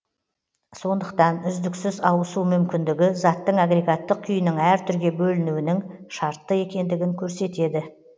сондықтан үздіксіз ауысу мүмкіндігі заттың агрегаттық күйінің әр түрге бөлінуінің шартты екендігін көрсетеді